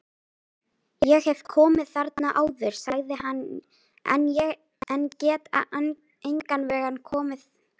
Ég hef komið þarna áður sagði hann, en get engan veginn komið þessu fyrir mig